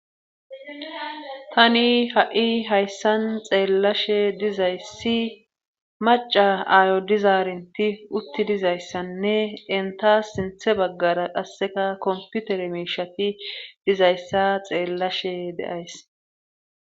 tani ha7i hayssan xeellashe dizayssi maca aayo dizaarinti utti dizayssanne entas sinthe baggara qasseka komputere miishati dizayssa xeellashe de'ays